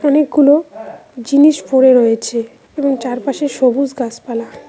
অনেকগুলো জিনিস পড়ে রয়েছে এবং চারপাশে সবুজ গাছপালা।